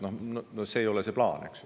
No see ei ole plaan, eks.